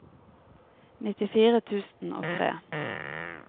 nittifire tusen og tre